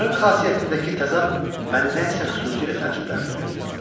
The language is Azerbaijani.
Onların xasiyyətindəki təzad məni nəsə xüsusi ilə təəccübləndirirdi.